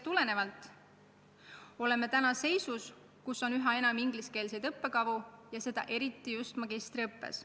Nii oleme täna seisus, kus on üha enam ingliskeelseid õppekavu, ja seda eriti just magistriõppes.